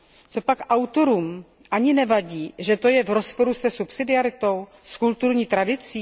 Copak autorům ani nevadí, že to je v rozporu se subsidiaritou a s kulturní tradicí?